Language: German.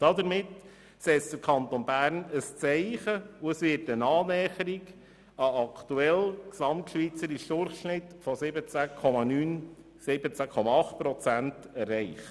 Damit setzt der Kanton Bern ein Zeichen, und es wird eine Annäherung an den gesamtschweizerischen Durchschnitt von 17,8 Prozent erreicht.